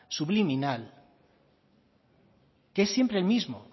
subliminal que es siempre el mismo